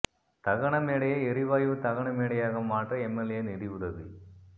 தகன மேடையை எரிவாயு தகன மேடையாக மாற்ற எம்எல்ஏ நிதியுதவி